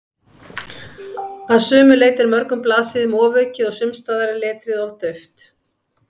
Að sumu leyti er mörgum blaðsíðum ofaukið og sumsstaðar er letrið of dauft.